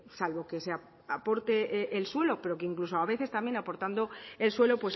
salvo que se aporte el suelo pero que incluso a veces también aportando el suelo